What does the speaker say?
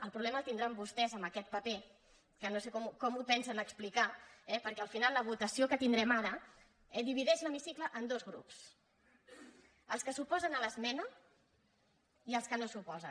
el problema el tindran vostès amb aquest paper que no sé com ho pensen explicar eh perquè al final la votació que tindrem ara divideix l’hemicicle en dos grups els que s’oposen a l’esmena i els que no s’hi oposen